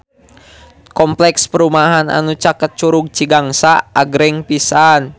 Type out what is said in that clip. Kompleks perumahan anu caket Curug Cigangsa agreng pisan